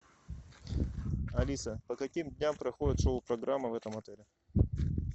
алиса по каким дням проходит шоу программа в этом отеле